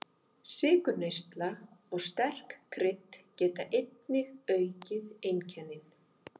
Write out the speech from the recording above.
Sykurneysla og sterk krydd geta einnig aukið einkennin.